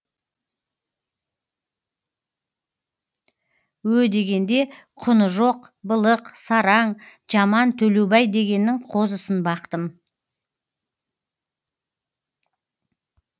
ө дегенде құны жоқ былық сараң жаман төлеубай дегеннің қозысын бақтым